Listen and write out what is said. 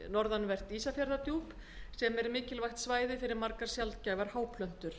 ísafjarðardjúp er mikilvægt svæði fyrir margar sjaldgæfar háplöntur